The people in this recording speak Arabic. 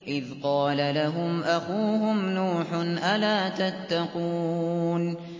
إِذْ قَالَ لَهُمْ أَخُوهُمْ نُوحٌ أَلَا تَتَّقُونَ